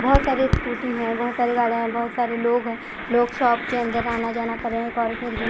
बहोत सारे स्कूटी है बहोत सारे गाड़िया है बहुत सारे लोग है लोग शॉप के अंदर आना जाना कर रहे है एक ओरत निकली--